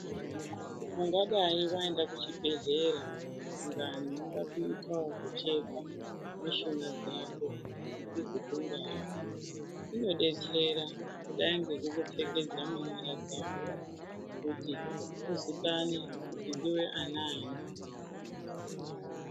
Ungadai waenda kuchibhedhlera ,dangani unoda kuita kuchekwa mishuna dzako kuti uzokundazve kunodetsera kudai ngekuku pfekedza munyara dzako kuti uzikane kuti ndiwe anani .